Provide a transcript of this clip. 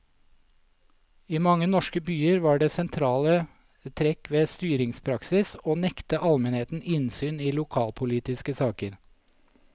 I mange norske byer var det sentrale trekk ved styringspraksis å nekte almenheten innsyn i lokalpolitiske saker.